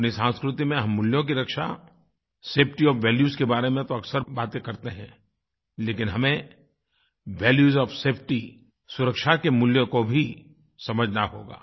अपनी संस्कृति में हम मूल्यों की रक्षा सेफटी ओएफ वैल्यूज के बारे में तो अक्सर बातें करते हैं लेकिन हमें वैल्यूज ओएफ सेफटी सुरक्षा के मूल्यों को भी समझना होगा